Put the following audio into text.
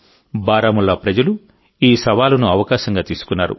బారాముల్లా ప్రజలు ఈ సవాలును అవకాశంగా తీసుకున్నారు